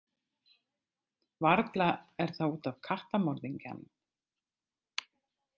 Varla er það út af kattamorðingjanum.